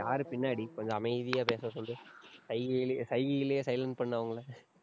யாரு பின்னாடி, கொஞ்சம் அமைதியா பேச சொல்லு. சைகையிலே~ சைகையிலேயே silent பண்ணு அவங்கள.